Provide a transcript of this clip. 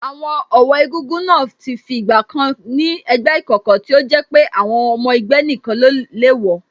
Àwọn ọ̀wọ́ egúngún náà ti fi ìgbà kan ni ẹgbẹ́ ìkọ̀kọ̀ tí ó jẹ́ pé ọmọ ẹgbẹ́ nìkan le wọ̀